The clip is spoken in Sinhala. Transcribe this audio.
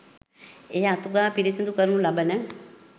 එය අතු ගා පිරිසිදු කරනු ලබන